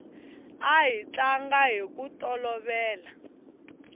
a hi tlanga hiku tolovela